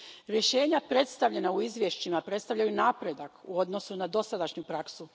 Rješenja predstavljena u izvješćima predstavljaju napredak u odnosu na dosadašnju praksu.